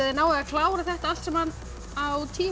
þið náið að klára þetta allt saman á tíu